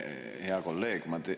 Hea kolleeg!